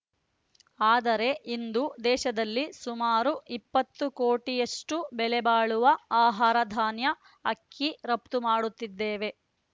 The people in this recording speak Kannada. ಆದರೆ ಇಂದು ದೇಶದಲ್ಲಿ ಸುಮಾರು ಇಪ್ಪತ್ತು ಕೋಟಿಯಷ್ಟು ಬೆಲೆ ಬಾಳುವ ಆಹಾರಧಾನ್ಯ ಅಕ್ಕಿ ರಪ್ತುಮಾಡುತ್ತಿದ್ದೇವೆ